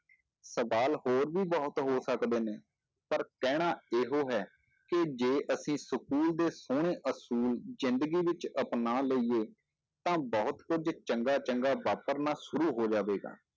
ਸਵਾਲ ਹੋਰ ਵੀ ਬਹੁਤ ਹੋ ਸਕਦੇ ਨੇ, ਪਰ ਕਹਿਣਾ ਇਹੋ ਹੈ, ਕਿ ਜੇ ਅਸੀਂ school ਦੇ ਸੋਹਣੇ ਅਸੂਲ ਜ਼ਿੰਦਗੀ ਵਿੱਚ ਅਪਨਾ ਲਈਏ ਤਾਂ ਬਹੁਤ ਕੁੱਝ ਚੰਗਾ ਚੰਗਾ ਵਾਪਰਨਾ ਸ਼ੁਰੂ ਹੋ ਜਾਵੇਗਾ।